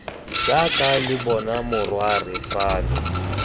jaaka lo bona morwarre fano